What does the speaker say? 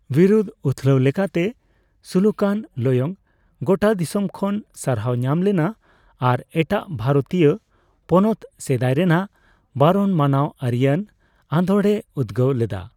ᱵᱤᱨᱩᱫᱽ ᱩᱛᱷᱞᱟᱣ ᱞᱮᱠᱟᱛᱮ ᱥᱩᱞᱩᱠᱭᱟᱱ ᱞᱚᱭᱚᱝ ᱜᱳᱴᱟ ᱫᱤᱥᱚᱢ ᱠᱷᱚᱱ ᱥᱟᱨᱦᱟᱣ ᱧᱟᱢᱞᱮᱱᱟ ᱟᱨ ᱮᱴᱟᱜ ᱵᱷᱟᱨᱛᱤᱭᱚ ᱯᱚᱱᱚᱛ ᱥᱮᱫᱟᱭᱞᱮᱱᱟᱜ ᱵᱟᱨᱚᱱ ᱢᱟᱱᱟᱣ ᱟᱹᱨᱤᱭᱟᱱ ᱟᱫᱳᱲᱮᱭ ᱩᱫᱽᱜᱟᱹᱣ ᱞᱮᱱᱟᱭ᱾